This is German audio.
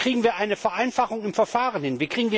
Wie kriegen wir eine Vereinfachung im Verfahren hin?